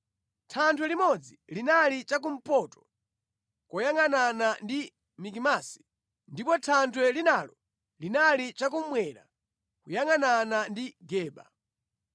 Thanthwe limodzi linali chakumpoto kuyangʼanana ndi Mikimasi, ndipo thanthwe linalo linali chakummwera kuyangʼanana ndi Geba.